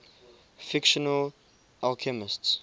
fictional alchemists